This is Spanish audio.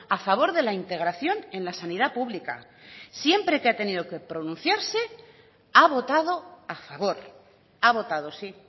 a favor de la integración en la sanidad pública siempre que ha tenido que pronunciarse ha votado a favor ha votado sí